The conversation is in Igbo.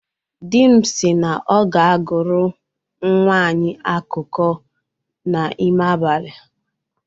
Di m si na ọ ga-agụrụ nnwa anyị akụkọ n'ime abalị